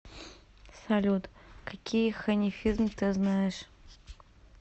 салют какие ханифизм ты знаешь